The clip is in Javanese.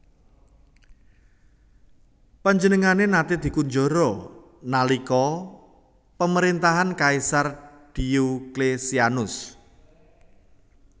Panjenengané naté dikunjara nalika pamaréntahan Kaisar Dioklesianus